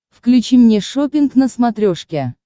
включи мне шоппинг на смотрешке